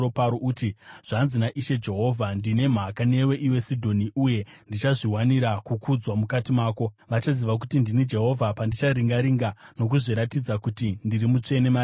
uti, ‘Zvanzi naIshe Jehovha: “ ‘Ndine mhaka newe, iwe Sidhoni, uye ndichazviwanira kukudzwa mukati mako. Vachaziva kuti ndini Jehovha, pandichariranga ndigozviratidza mariri kuti ndiri mutsvene.